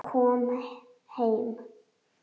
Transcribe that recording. Ég kom heim!